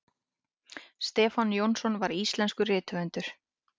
stefán jónsson var íslenskur rithöfundur